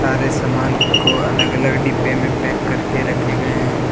सारे समान को अलग अलग डिब्बे में पैक करके रखे गए हैं।